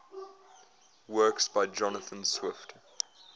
works by jonathan swift